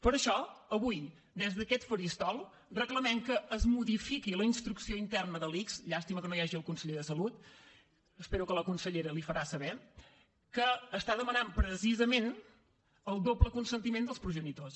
per això avui des d’aquest faristol reclamem que es modifiqui la instrucció interna de l’ics llàstima que no hi hagi el conseller de salut espero que la consellera li ho farà saber que demana precisament el doble consentiment dels progenitors